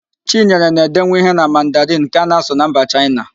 Chinyere na-edenwu ihe na Mandarịn nke a na-asụ na mba Chaịna